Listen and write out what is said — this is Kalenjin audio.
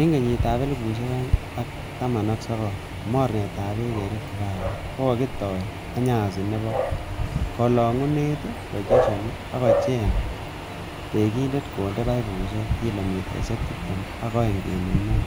En kenyitab elfusiek oeng ak taman ak sogol, Mornetab beek en Riftavalley kokitoi achensi nebo kolongunet, projectinoton kokicheng tekindet konde paipusiek kilomitaisiek tibtem ak agenge kenuch mut,